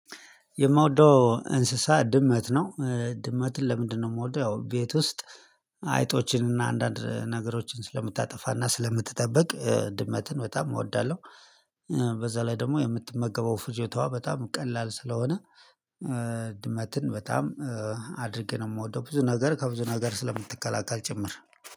የምወደው እንስሳ ድመት ነው ድመትን ለምንድነው የምወደው ያው ቤት ውስጥ አይጦችን እና አንዳንድ ነገሮችን ስለምታጠፋና ስለምትጠብቅ ድመትን በጣም እወዳለሁ። በዛ ላይ ደግሞ የምትመገበው ፍጆታዋ በጣም ቀላል ስለሆነ ድመትን በጣም አድርጌ ነው የምወደው ብዙ ነገር ከብዙ ነገር ስለምትከላከል ጭምር።